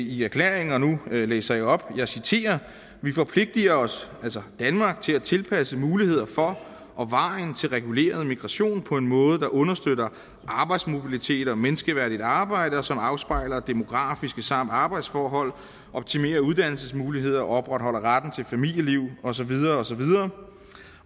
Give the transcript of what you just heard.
i erklæringen og nu læser jeg op og citerer vi forpligter os altså danmark til at tilpasse muligheder for og veje til reguleret migration på en måde der understøtter arbejdsmobilitet og menneskeværdigt arbejde og som afspejler demografiske forhold samt arbejdsforhold optimerer uddannelsesmuligheder opretholder retten til familieliv og så videre og så videre